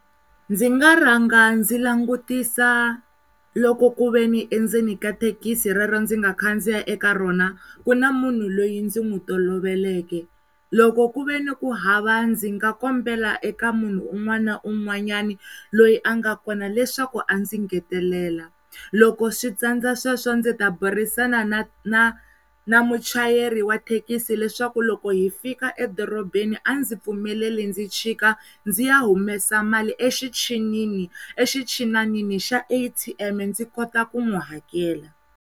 Ndzi nga rhanga ndzi langutisa loko kuveni endzeni ka thekisi rero ndzi nga khandziya eka rona ku na munhu loyi ndzi n'wi toloveleke loko ku ve ni ku hava ndzi nga kombela eka munhu un'wana na un'wanyani loyi a nga kona leswaku a ndzi ngetelela, loko switsandza sweswo ndzi ta burisana na na muchayeri wa thekisi leswaku loko hi fika edorobeni a ndzi pfumelela ndzi chika ndzi ya humesa mali exichinini, exichinanini xa A_T_M ndzi kota ku n'wi hakela.